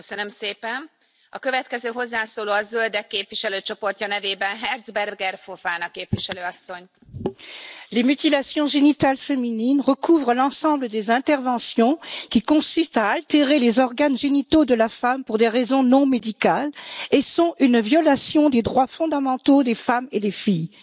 Madame la Présidente, les mutilations génitales féminines recouvrent l'ensemble des interventions qui consistent à altérer les organes génitaux de la femme pour des raisons non médicales et sont une violation des droits fondamentaux des femmes et des filles.